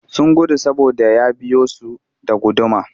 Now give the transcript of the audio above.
Sun gudu saboda ya biyo su da guduma